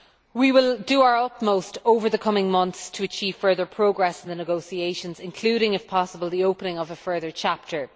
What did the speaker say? We will do our utmost over the coming months to achieve further progress in the negotiations, including, if possible, the opening of a further chapter.